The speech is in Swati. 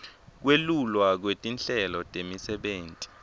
kwelulwa kwetinhlelo temisebenti